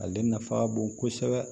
Ale nafa ka bon kosɛbɛ